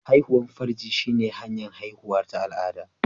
Haihuwar farji shine hanyar haihuwa ta al'ada